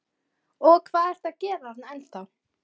Og hvað ertu að gera þarna ennþá?